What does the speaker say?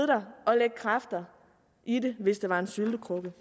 der og lægge kræfter i det hvis det var en syltekrukke